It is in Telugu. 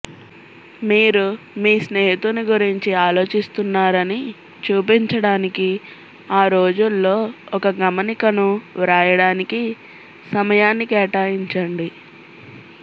మీరు మీ స్నేహితుని గురించి ఆలోచిస్తున్నారని చూపించడానికి ఆ రోజుల్లో ఒక గమనికను వ్రాయడానికి సమయాన్ని కేటాయించండి